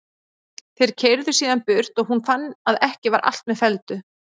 Þeir keyrðu síðan burt og hún fann að ekki var allt með felldu.